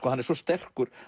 hann er svo sterkur